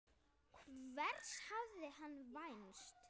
Hvers hafði hann vænst?